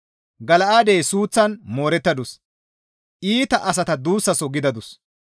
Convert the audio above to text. Gala7aadey suuththan moorettadus; iita asata duussaso gidadus.